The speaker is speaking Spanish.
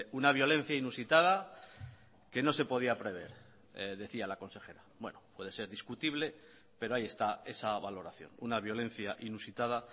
una violencia inusitada que no se podía prever decía la consejera bueno puede ser discutible pero ahí está esa valoración una violencia inusitada